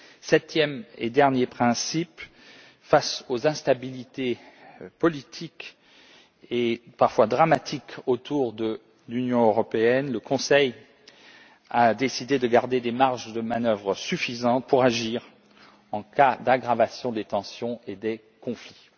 Septième et dernier principe face à l'instabilité politique et parfois dramatique autour de l'Union européenne, le Conseil a décidé de garder des marges de manœuvre suffisantes pour agir en cas d'aggravation des tensions et des conflits.